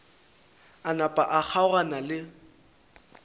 a napa a kgaogana le